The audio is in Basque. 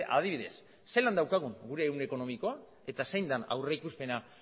adibidez zelan daukagun gure ehun ekonomikoa eta zein den aurrikuspena